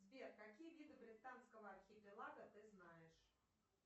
сбер какие виды британского архипелага ты знаешь